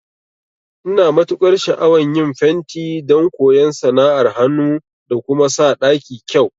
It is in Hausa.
Ina matukar sha'awan yin fenti don koyan sana'ar hanu da kuma sa ɗaki kyau